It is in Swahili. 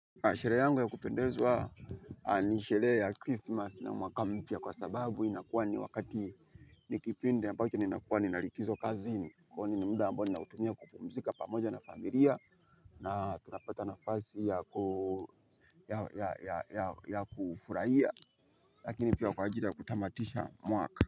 Sherehe yangu ya kupendezwa ni sherehe ya Christmas na mwaka mpya kwa sababu inakuwa ni wakati ni kipindi ambacho nina kuwa nina likizo kazini kwani ni muda ninaoutumia kupumzika pamoja na familia na tunapata nafasi ya kufurahia lakini pia kwa ajili ya kutamatisha mwaka.